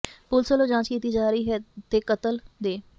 police ਵਲੋਂ ਜਾਂਚ ਕੀਤੀ ਜਾ ਰਹੀ ਹੈ ਤੇ ਕਤਲ ਦੇ